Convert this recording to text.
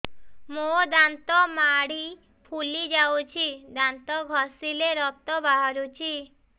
ମୋ ଦାନ୍ତ ମାଢି ଫୁଲି ଯାଉଛି ଦାନ୍ତ ଘଷିଲେ ରକ୍ତ ବାହାରୁଛି